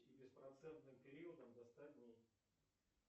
с беспроцентным периодом до ста дней